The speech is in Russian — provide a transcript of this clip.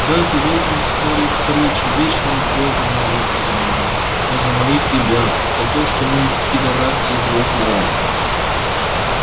да ты должен старый хрыч вечно бога молить за меня да за моих ребят за то что мы пидорас тебе в рот давали